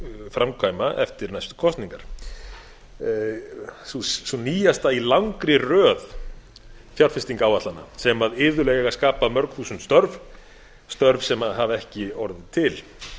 framkvæma eftir næstu kosningar sú nýjasta í langri röð fjárfestingaráætlana sem iðulega skapa mörg þúsund störf störf sem hafa ekki orðið til